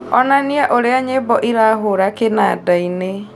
onania ũrĩa nyĩmbo irahũra kĩnandaini